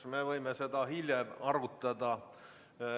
Me võime seda hiljem arutada.